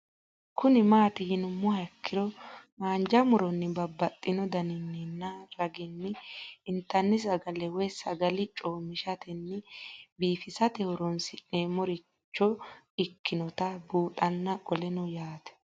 Kuni mati yinumoha ikiro hanja muroni babaxino daninina ragini intani sagale woyi sagali comishatenna bifisate horonsine'morich ikinota bunxana qoleno yaate